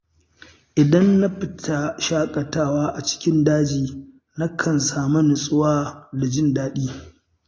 Idan na fita shaƙatawa a cikin daji, nakan sami nutsuwa da jin daɗi.